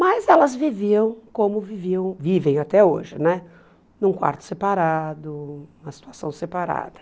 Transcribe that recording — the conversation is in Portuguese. Mas elas viviam como viviam vivem até hoje, num quarto separado, uma situação separada.